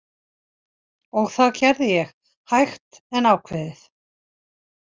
Og það gerði ég, hægt en ákveðið.